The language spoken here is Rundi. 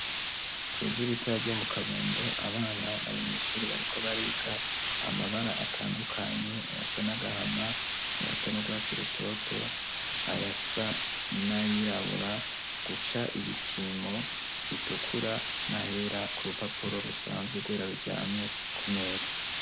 Kw'ishure ritoya ryo mu Kabondo, abana bari mw' ishuri bariko bariga amabara atandukanye : ayasa n'agahama, ayasa n'urwatsi rutoto, ayasa n'ayirabura, guca ibipimo bitukura, nah'era ku rupapuro rusanzwe rwera ruryamye ku meza.